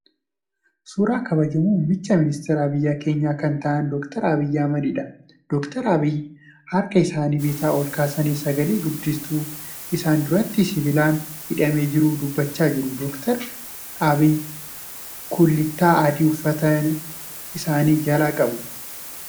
Suuraa kabajamoo muumicha ministeeraa biyya keenyaa kan ta'aan Dr. Abiyyii Ahimadiidha. Dr. Abiyyiin harka isaanii bitaa ol kaasanii sagale guddistuu isaan duratti sibiilaan hidhamee jiruun dubbachaa jiru. Dr. Abiyyi kullittaa adii uffata isaanii jalaa qabu.